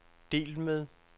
delt med